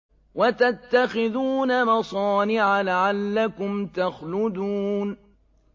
وَتَتَّخِذُونَ مَصَانِعَ لَعَلَّكُمْ تَخْلُدُونَ